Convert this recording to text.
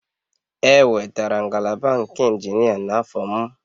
E wetara ngalaba nke injinia n'afọ m